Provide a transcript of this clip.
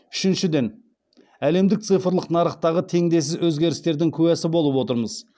үшіншіден әлемдік цифрлық нарықтағы теңдессіз өзгерістердің куәсі болып отырмыз